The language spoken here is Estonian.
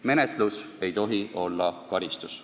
Menetlus ei tohi olla karistus.